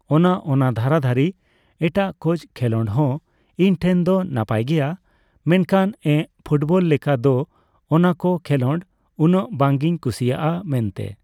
ᱚᱱᱟ ᱚᱱᱟ ᱫᱷᱟᱨᱟᱫᱷᱟᱨᱤ ᱮᱴᱟᱜ ᱠᱚᱡ ᱠᱷᱮᱸᱞᱳᱰ ᱦᱚᱸ ᱤᱧ ᱴᱷᱮᱱ ᱫᱚ ᱱᱟᱯᱟᱭ ᱜᱮᱭᱟ᱾ ᱢᱮᱱᱠᱷᱟᱱ ᱮᱸᱜ ᱯᱷᱩᱴᱵᱚᱞ ᱞᱮᱠᱟ ᱫᱚ ᱚᱱᱟᱠᱚ ᱠᱷᱮᱸᱞᱳᱰ ᱩᱱᱟᱰᱜ ᱵᱟᱝᱤᱧ ᱠᱩᱥᱤᱭᱟᱜᱼᱟ ᱢᱮᱱᱛᱮ᱾